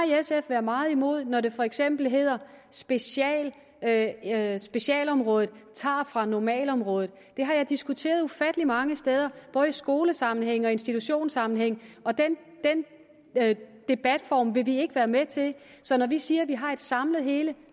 sf været meget imod når det for eksempel hedder at at specialområdet tager fra normalområdet det har jeg diskuteret ufattelig mange steder både i skolesammenhænge og i institutionssammenhænge og den debatform vil vi ikke være med til så når vi siger at vi har et samlet hele